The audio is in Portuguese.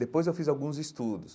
Depois eu fiz alguns estudos.